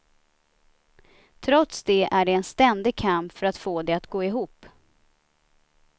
Trots det är det en ständig kamp för att få det att gå ihop.